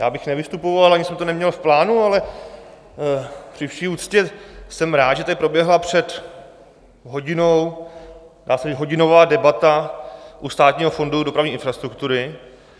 Já bych nevystupoval, ani jsem to neměl v plánu, ale při vší úctě jsem rád, že tady proběhla před hodinou dá se říct hodinová debata u Státního fondu dopravní infrastruktury.